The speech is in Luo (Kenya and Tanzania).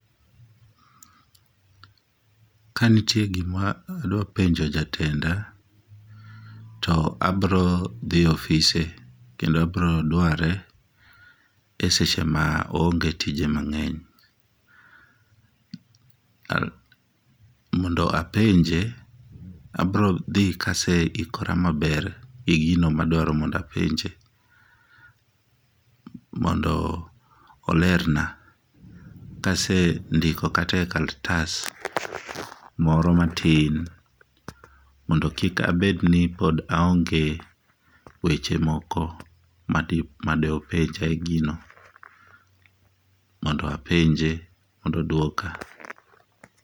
Kanitie gima adwa penjo jatenda to abro dhi e ofise kendo abro dware eseche ma oonge tije mangeny. Mondo apenje abro dhi kaseikora maber e gino madwaro ni mondo apenje mondo olerna kasendiko kata e kalatas moro matin mondo kik abedni pod aonge weche moko madi openja e gino mondo apenje mondo odwoka